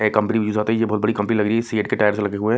Company है ये बहुत बड़ी कंपनी लग रही है सी_एट के टायर से लगे हुए हैं।